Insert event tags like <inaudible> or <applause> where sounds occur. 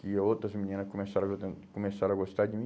que outras meninas começaram <unintelligible> começaram a gostar de mim.